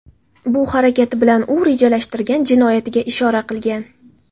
Bu harakati bilan u rejalashtirgan jinoyatiga ishora qilgan”.